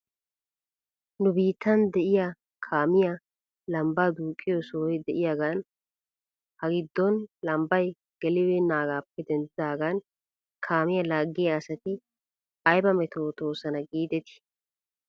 Nu biittan de'iyaa kaamiyaa lambbaa duuqqiyoo sohey de'iyaagan ha giddon lambbay gelibeenaagaappe denddidaagan kaamiyaa laaggiyaa asati ayba metootoosona giidetii ?